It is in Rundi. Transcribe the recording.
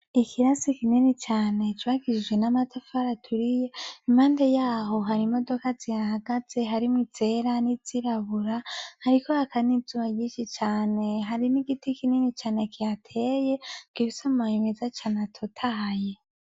Ikirasi kinini cane jwagishijwe n'amatafara aturiye imande yaho hari imodoka zihahagaze harimwo izera nizirabura, ariko hakane izuwa gishi cane hari n'igiti kinini cane kihateye ngo ibisomoye imeza cane atotaye.